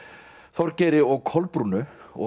Þorgeiri og Kolbrúnu og